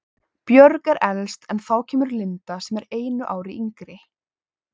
Björg er elst en þá kemur Linda sem er einu ári yngri.